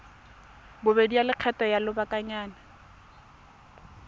bobedi ya lekgetho la lobakanyana